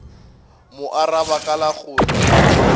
mo araba ka la gore